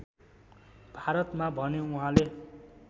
भारतमा भने उहाँले